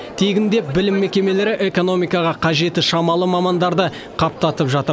тегін деп білім мекемелері экономикаға қажеті шамалы мамандарды қаптатып жатыр